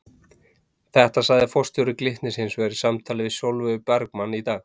Þetta sagði forstjóri Glitnis hins vegar í samtali við Sólveigu Bergmann í dag?